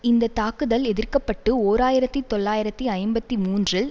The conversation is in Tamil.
இந்த தாக்குதல் எதிர்க்கப்பட்டு ஓர் ஆயிரத்தி தொள்ளாயிரத்தி ஐம்பத்தி மூன்றில்